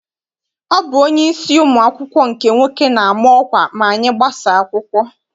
Ọ bụ onyeisi ụmụ akwụkwọ nke nwoke na-ama ọkwa ma anyị gbasaa akwụkwọ.